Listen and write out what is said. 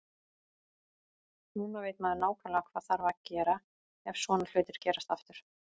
Núna veit maður nákvæmlega hvað þarf að gera ef svona hlutir gerast aftur.